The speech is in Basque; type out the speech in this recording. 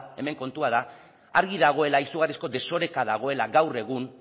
hemen kontua da argi dagoela izugarrizko desoreka dagoela gaur egun